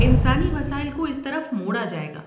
انسانی وسائل کو اس طرف موڑا جائے گا۔